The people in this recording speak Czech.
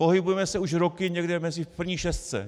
Pohybujeme se už roky někde v první šestce.